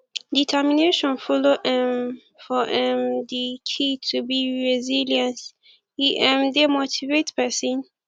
determination follow um for um di key to be resilience e um dey motivate pesin